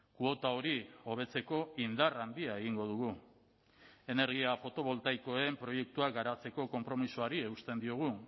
kuota hori hobetzeko indar handia egingo dugu energia fotovoltaikoen proiektuak garatzeko konpromisoari eusten diogu